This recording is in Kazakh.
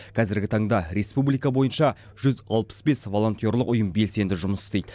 қазіргі таңда республика бойынша жүз алпыс бес волонтерлық ұйым белсенді жұмыс істейді